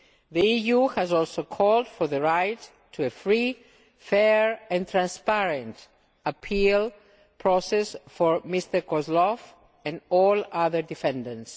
The EU has also called for the right to a free, fair and transparent appeal process for Mr Kozlov and all other defendants.